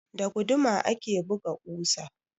Da guduma ake buga ƙusa.